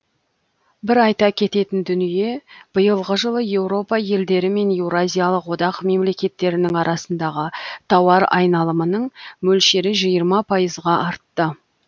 бір айта кететін дүние биылғы жылы еуропа елдері мен еуразиялық одақ мемлекеттерінің арасындағы тауар айналымның мөлшері жиырма пайызға артты